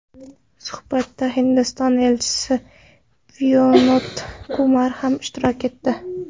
Suhbatda Hindiston Elchisi Vinod Kumar ham ishtirok etdi.